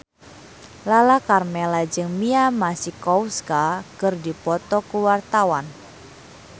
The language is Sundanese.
Lala Karmela jeung Mia Masikowska keur dipoto ku wartawan